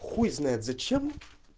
хуй знает зачем